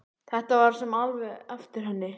Þetta var svo sem alveg eftir henni.